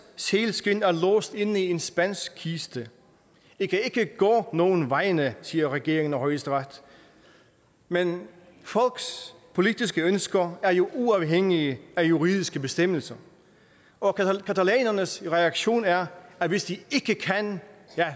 sælskind er låst inde i en spansk kiste i kan ikke gå nogen vegne siger regeringen og højesteret men folks politiske ønsker er jo uafhængige af juridiske bestemmelser og catalanernes reaktion er at hvis de ikke kan